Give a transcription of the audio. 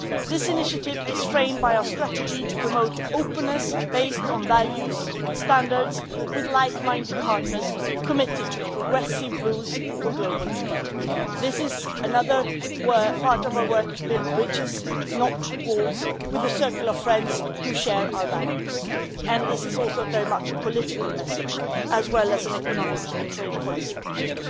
This initiative is framed by our strategy to promote openness based on values and standards with like-minded partners committed to progressive rules for global trade. This is another part of our work to build bridges, not walls, with a circle of friends who share our values and this is also very much a political message, as well as an economic and trade policy question.